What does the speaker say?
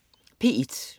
P1: